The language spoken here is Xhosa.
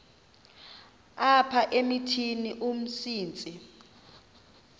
apha emithini umsintsi